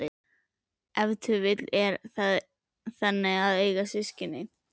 Ef til vill er það þannig að eiga systkin?